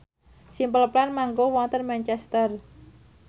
Simple Plan manggung wonten Manchester